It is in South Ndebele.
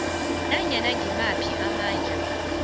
nanyana ngimaphi amandla